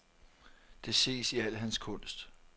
Det ses i al hans kunst.